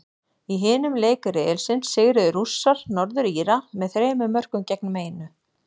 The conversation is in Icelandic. Í hinum leik riðilsins sigruðu Rússar, Norður Íra, með þremur mörkum gegn einu.